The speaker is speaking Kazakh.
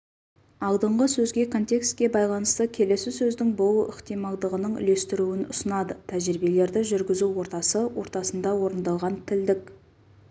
алдыңғы сөзге контекстке байланысты келесі сөздің болу ықтималдығының үлестіруін ұсынады тәжірибелерді жүргізу ортасы ортасында орындалған тілдік